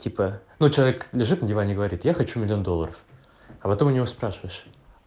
типа ну человек лежит на диване и говорит я хочу миллион долларов а потом у него спрашиваешь